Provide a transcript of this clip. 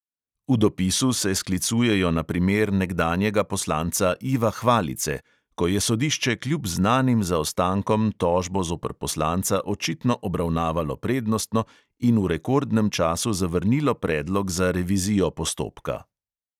V dopisu se sklicujejo na primer nekdanjega poslanca iva hvalice, "ko je sodišče kljub znanim zaostankom tožbo zoper poslanca očitno obravnavalo prednostno in v rekordnem času zavrnilo predlog za revizijo postopka".